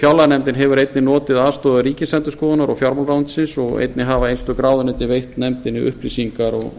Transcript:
fjárlaganefndin hefur einnig notið aðstoðar ríkisendurskoðunar og fjármálaráðuneytisins og einnig hafa einstök ráðuneyti veitt nefndinni upplýsingar og